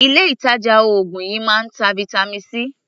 Ilé ìtàjà oògùn yìí máa ń ta vitamin C.